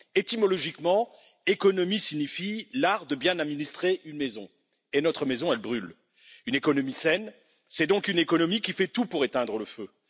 Étymologiquement, économie signifie art de bien administrer une maison et notre maison, elle brûle. Une économie saine, c'est donc une économie qui fait tout pour éteindre le feu.